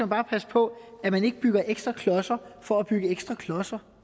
bare passe på at man ikke bygger ekstra klodser for at bygge ekstra klodser